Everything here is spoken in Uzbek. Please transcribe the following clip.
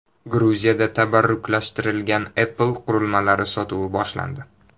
Gruziyada tabarruklashtirilgan Apple qurilmalari sotuvi boshlandi .